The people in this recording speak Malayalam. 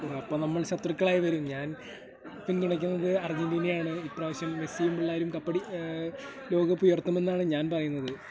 അപ്പോൾ നമ്മ ശത്രുക്കളായി വരും. ഞാൻ പിന്തുണക്കുന്നത് അർജന്റീനയെ ആണ് . ഇപ്രാവശ്യം മെസ്സിയും പിള്ളേരും കപ്പടി ... ഏ ...... ലോകകപ്പുയർത്തുമെന്നാണ് ഞാൻ പറയുന്നത്.